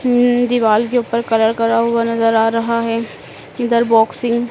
अह दीवाल के ऊपर कलर करा हुआ नज़र आ रहा है इधर बॉक्सिंग --